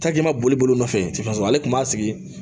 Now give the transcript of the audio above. boli boli nɔfɛ ale tun b'a sigi